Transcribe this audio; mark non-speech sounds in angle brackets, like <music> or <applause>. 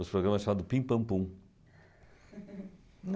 Os programas chamavam de Pim Pam Pum. <laughs>